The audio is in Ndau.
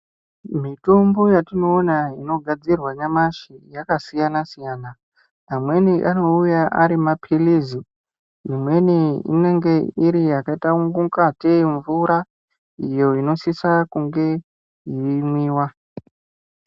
Mitombo yatinoona inogadzirwa nyamashi yakasiyana siyana amweni anouya Ari mapirizi Imweni inenge yakaita ngatei mvura iyo inosisa kunge yeimwiwa.